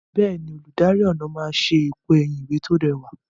Bẹ́ẹ̀ni, olùdarí ọnà máa ṣe èpo ẹ̀yìn ìwé tí ó rẹwà.